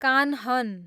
Kanhan